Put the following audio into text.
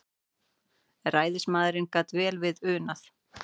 Ræðismaðurinn gat vel við unað.